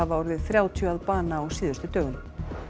orðið þrjátíu að bana á síðustu dögum